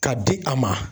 Ka di a ma